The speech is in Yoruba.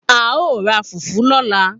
A o ra fùfú lọ́la